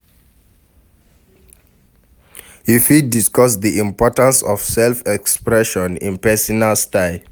You fit discuss di importance of self-expression in pesinal style.